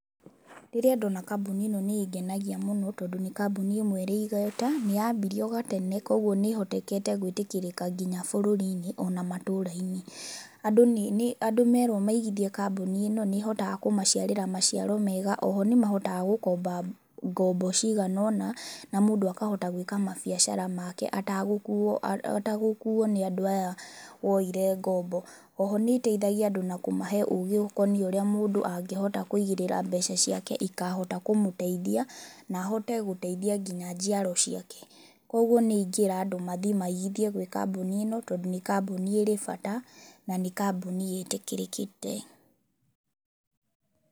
Rĩrĩa ndona kambuni ĩno nĩĩngenagia mũno tondũ nĩ kambuni ĩmwe ĩrĩ igweta na yambirio gatene na nĩhotete gwĩtĩkĩrĩka nginya mabũrũri-inĩ na matũra-inĩ. Andũ merwo maigithiĩ kambuni-inĩ ĩno nĩhotaga kũmaciarĩra maciaro mega. Oho nĩmahotaga gũkomba ngombo cigana ũna na mũndũ akahota gwĩka mabiacara make atagũkuo nĩ andũ aya woire ngombo. Oho nĩĩteithagia andũ na kũmahe ũgĩ wa ũrĩa mũndũ angĩhota kũigĩrĩra mbeca ciake ikahota kũmũteithia na ahote nginya gũteithia njiarwa ciake. Koguo nĩingĩra andũ mathiĩ maigithie gwĩ kambuni ĩno tondũ nĩ kambuni ĩrĩ bata na nĩ kambuni ĩtĩkĩrĩkĩte.